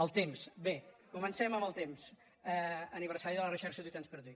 el temps bé comencem amb el temps aniversari d’à la recherche du temps perdu